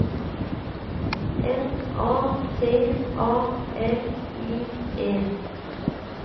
N A T A L I E